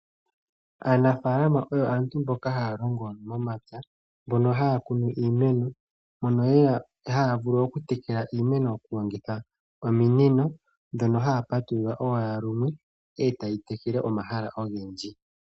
Aanafaalama oyo aantu mboka haya longo momapya , mono haya kunu iimeno. Mono haya vulu okutekela iimeno taya longitha ominino, ndhono haya patulula owala lumwe, etayi tekele omahala ogendji.